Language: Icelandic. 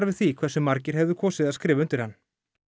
við því hversu margir höfðu kosið að skrifa undir hann